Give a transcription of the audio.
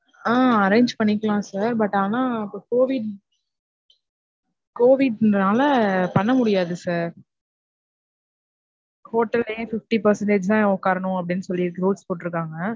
ஆஹ் arrange பண்ணிக்கலாம் sir but ஆனா இப்ப COVID COVID னால பண்ணமுடியாது sir. ஹோட்டல்லையே fifty percentage தான் உக்காரனும் அப்டினு சொல்லி rules போட்டிருக்காங்க.